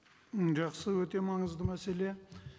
м жақсы өте маңызды мәселе